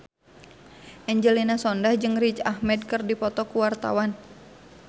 Angelina Sondakh jeung Riz Ahmed keur dipoto ku wartawan